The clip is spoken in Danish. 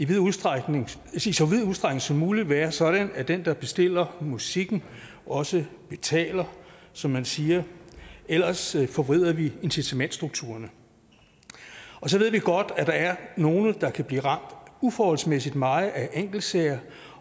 vid udstrækning som muligt være sådan at den der bestiller musikken også betaler som man siger ellers forvrider vi incitamentsstrukturerne så ved vi godt at der er nogle der kan blive ramt uforholdsmæssigt meget af enkeltsager